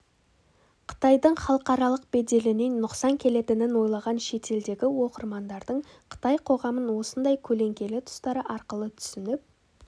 қытайдың халықаралық беделіне нұқсан келетінін ойлаған шетелдегі оқырмандардың қытай қоғамын осындай көлеңкелі тұстары арқылы түсініп